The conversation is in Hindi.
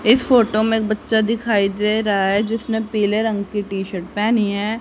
इस फोटो में एक बच्चा दिखाई दे रहा है जिसने पीले रंग की टी शर्ट पेहनी है।